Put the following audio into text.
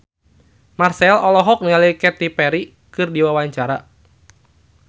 Marchell olohok ningali Katy Perry keur diwawancara